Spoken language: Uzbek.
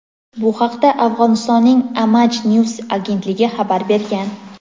Bu haqda Afg‘onistonning "Aamaj News" agentligi xabar bergan.